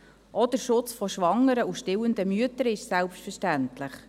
Auch der Schutz von schwangeren und stillenden Müttern ist selbstverständlich.